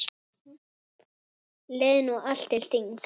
Leið nú allt til þings.